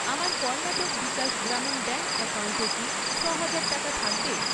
আমার কর্ণাটক বিকাশ গ্রামীণ ব্যাঙ্ক অ্যাকাউন্টে কী ছ'হাজার টাকা থাকবে?